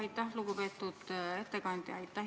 Aitäh, istungi juhataja!